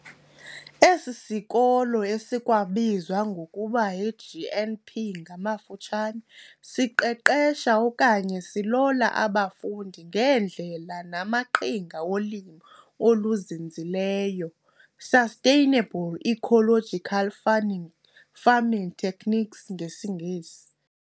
Esisikolo esikwabizwa ngokuba yiGNP ngamafutshane, siqeqesha okanye silola abafundi ngeendlela namaqhinga wolimo oluzinzileyo, "sustainable ecological farming farming techniques ngesingesi".